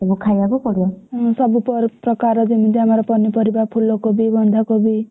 ସବୁ ଖାଇବାକୁ ପଡିବ।